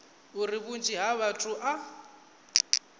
uri vhunzhi ha vhathu a